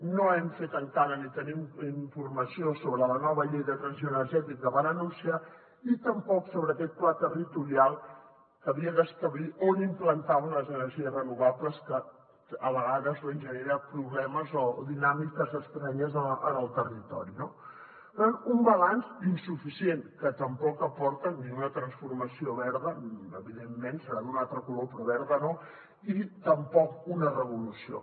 no hem fet encara ni tenim informació sobre la nova llei de transició energètica que van anunciar i tampoc sobre aquest pla territorial que havia d’establir on implantaven les energies renovables que a vegades doncs genera problemes o dinàmiques estranyes en el territori no per tant un balanç insuficient que tampoc aporta ni una transformació verda evidentment deu ser d’un altre color però verda no ni tampoc una revolució